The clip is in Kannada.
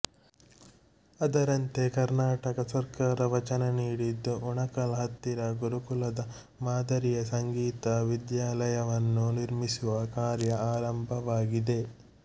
ಅದರಂತೆ ಕರ್ನಾಟಕ ಸರ್ಕಾರ ವಚನನೀಡಿದ್ದು ಉಣಕಲ್ ಹತ್ತಿರ ಗುರುಕುಲದ ಮಾದರಿಯ ಸಂಗೀತ ವಿದ್ಯಾಲಯವನ್ನು ನಿರ್ಮಿಸುವ ಕಾರ್ಯ ಆರಂಭವಾಗಿದೆ